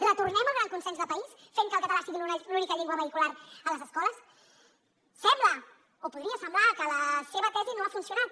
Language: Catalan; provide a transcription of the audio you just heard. retornem al gran consens de país fent que el català sigui l’única llengua vehicular a les escoles sembla o podria semblar que la seva tesi no ha funcionat